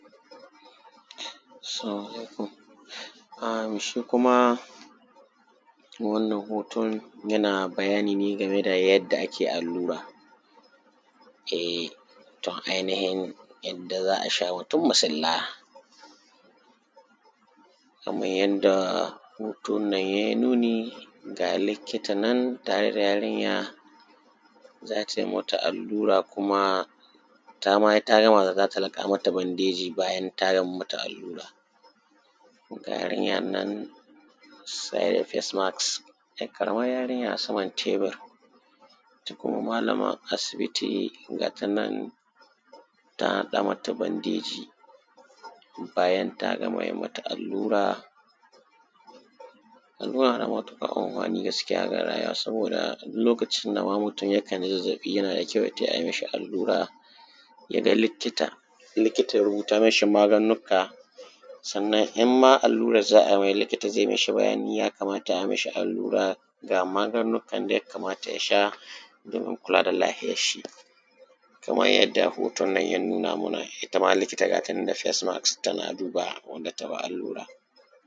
salamu alaikum um shi kuma wannan hoton yana bayani ne game da yadda ake allura e tor ainihin yadda za a sha mutum masulla kaman yadda hoton nan ya yi nuni ga likita nan tare da yarinya za ta yi mata allura kuma ta ma ta gama za ta laƙa mata bandeji bayan ta yi mata allura ga yarinyar nan saye da face mask ‘yar ƙaramar yarinya saman tebur ita kuma malamar asibiti ga ta nan taa haɗa: mata bandeji bayan ta gama yi mata allura allura na da matuƙar amfani gaskiya ga yara saboda duk lokacin da ma mutum yakan ji zazzaɓi yana da kyau ya tai a mishi allura ya ga likita likita ya rubuta mashi magannuka sannan in ma allurar za a mai likita zai mashi bayani ya kamata a mashi allura ga magannukan da ya kamata ya sha domin kula da lahiyarshi kaman yanda hoton nan ya nuna muna ita ma likita ga ta nan da face mask tana duba wadda ta ba allura